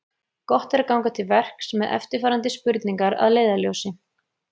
Gott er ganga til verks með eftirfarandi spurningar að leiðarljósi: